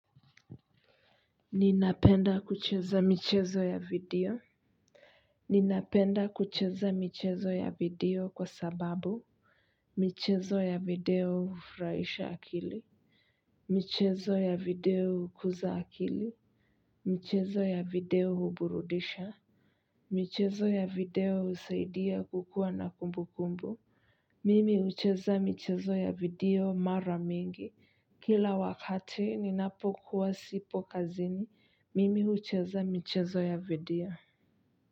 Ninapenda kucheza michezo ya video ninapenda kucheza michezo ya video kwa sababu michezo ya video hufurahisha akili michezo ya video hukuza akili michezo ya video huburudisha michezo ya video husaidia kukuwa na kumbu kumbu mimi hucheza michezo ya video mara mingi kila wakati ninapokuwa sipo kazini mimi hucheza michezo ya video.